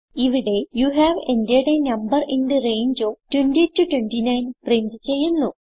ഇവിടെ you have entered a number in the range of 20 29 print ചെയ്യുന്നു